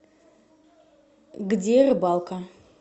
где рыбалка